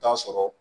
Taa sɔrɔ